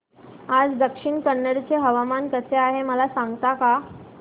आज दक्षिण कन्नड चे हवामान कसे आहे मला सांगता का